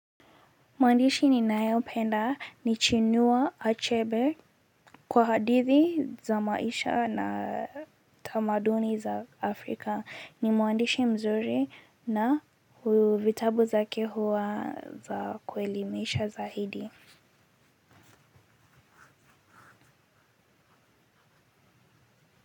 Mwandishi ninayopenda ni chinua achebe kwa hadithi za maisha na tamaduni za Afrika ni mwandishi mzuri na vitabu zake huwa za kuelimisha zaidi.